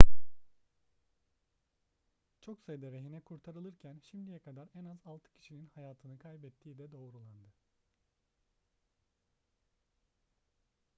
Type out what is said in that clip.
çok sayıda rehine kurtarılırken şimdiye kadar en az altı kişinin hayatını kaybettiği de doğrulandı